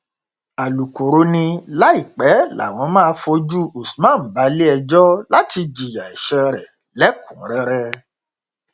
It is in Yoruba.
alūkkóró ni láìpẹ làwọn máa fojú usman balẹẹjọ láti jìyà ẹsẹ rẹ lẹkùnúnrẹrẹ